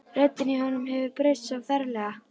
Röddin í honum hefur breyst svo ferlega.